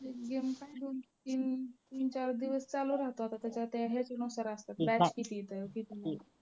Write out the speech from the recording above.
एक game काय दोन चालू तीन चार दिवस चालू राहतात आता ते ह्याच्यानुसार असतात